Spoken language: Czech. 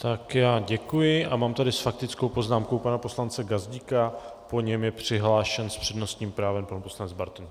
Tak já děkuji a mám tady s faktickou poznámkou pana poslance Gazdíka, po něm je přihlášen s přednostním právem pan poslanec Bartoň.